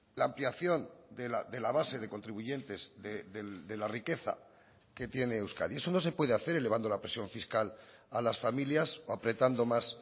la ampliación de la base de contribuyentes de la riqueza que tiene euskadi eso no se puede hacer elevando la presión fiscal a las familias o apretando más